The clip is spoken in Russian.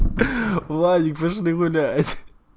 владик пошли гулять